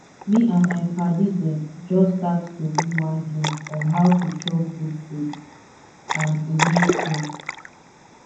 me and my padis dem just start to do one game on how to chop good food and e make sense